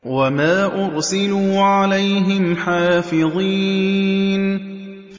وَمَا أُرْسِلُوا عَلَيْهِمْ حَافِظِينَ